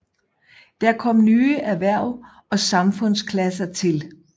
Der kom nye erhverv og samfundsklasser til